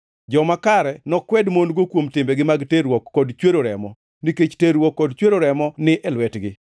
Joma kare nokwed mon-go kuom timbegi mag terruok kod chwero remo, nikech terruok kod chwero remo ni e lwetgi.